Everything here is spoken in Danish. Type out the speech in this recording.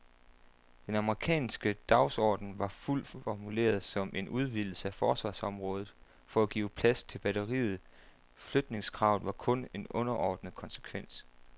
Den amerikanske dagsorden var dog formuleret som en udvidelse af forsvarsområdet for at give plads til batteriet, flytningskravet var kun en underordnet konsekvens.